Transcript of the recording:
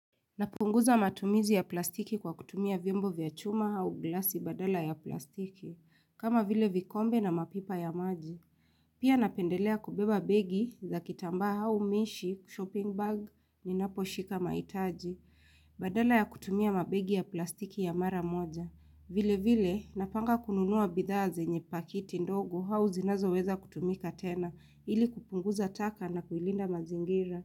Napunguza matumizi ya plastiki kwa kutumia vyombo vya chuma hau glasi badala ya plastiki, kama vile vikombe na mapipa ya maji. Pia napendelea kubeba begi za kitamba hau mishi, shopping bag, ni napo shika maitaji. Badala ya kutumia mabegi ya plastiki ya mara moja. Vile vile, napanga kununua bidhazi nye pakiti ndogo hau zinazo weza kutumika tena, ili kupunguza taka na kuilinda mazingira.